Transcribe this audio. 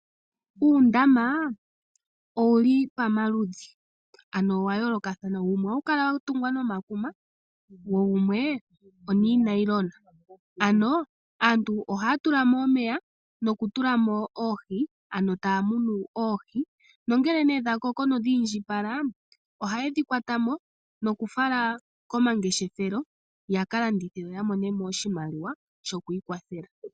Uundama owuli pamaludhi ano ohawu kala wa yoolokathana wumwe owa tungwa nomakuma wo wumwe onoonayilona. Aantu ohaya tula mo omeya taya munu oohi ngele dha koko oha yedhi kuthamo yakalandithe yo yamone iimaliwa ya kalande oompumbwe dhawo.